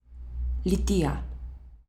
Litija.